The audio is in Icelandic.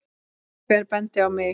Hver benti á mig?